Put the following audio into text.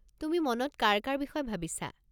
তুমি মনত কাৰ কাৰ বিষয়ে ভাবিছা?